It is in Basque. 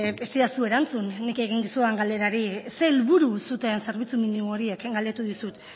ez didazu erantzun nik egin dizudan galderari ze helburu zuten zerbitzu minimo horiek galdetu dizut